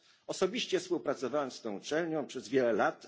Osobiście współpracowałem z tą uczelnią przez wiele lat.